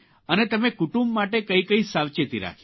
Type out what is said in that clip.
અને તમે કટુંબ માટે કઇ કઇ સાવચેતી રાખી